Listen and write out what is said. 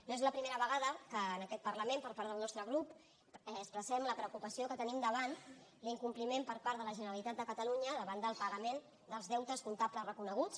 no és la primera vegada que en aquest parlament per part del nostre grup expressem la preocupació que tenim davant l’incompliment per part de la generalitat de catalunya davant del pagament dels deutes comptables reconeguts